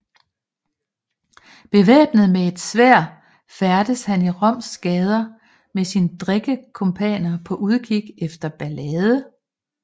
Bevæbnet med et sværd færdedes han i Roms gader med sine drikkekumpaner på udkig efter ballade